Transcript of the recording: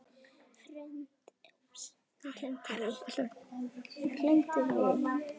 Hrund: Er þetta ekkert mál?